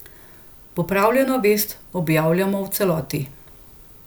Popravljeno vest objavljamo v celoti.